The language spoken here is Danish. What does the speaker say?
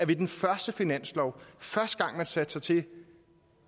ved den første finanslov første gang man satte sig til